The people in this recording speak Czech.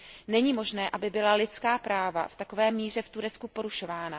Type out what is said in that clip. Není možné, aby byla lidská práva v takové míře v Turecku porušována.